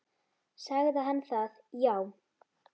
Sagði hann það já.